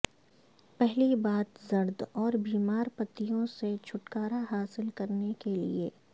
پہلی بات زرد اور بیمار پتیوں سے چھٹکارا حاصل کرنے کے لئے